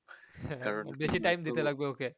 কারণ